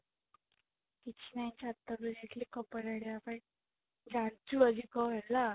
କିଛି ନାଇ ଛାତ ଉପରକୁ ଆସିଥିଲି କପଡା ଆଣିବା ପାଇଁ ଜାଣିଛୁ ଆଜି କଣ ହେଲା